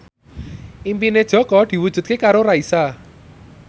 impine Jaka diwujudke karo Raisa